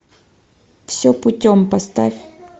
все путем поставь